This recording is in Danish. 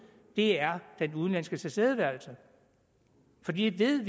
er den udenlandske tilstedeværelse for vi ved